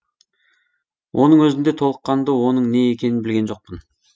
оның өзінде толыққанды оның не екенін білген жоқпын